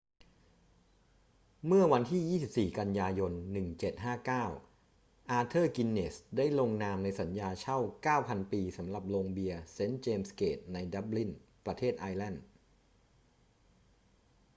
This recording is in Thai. เมื่อวันที่ 24 กันยายน 1759 อาเธอร์ กินเนสส์ได้ลงนามในสัญญาเช่า 9,000 ปีสำหรับโรงเบียร์เซนต์เจมส์เกตในดับลิน ประเทศไอร์แลนด์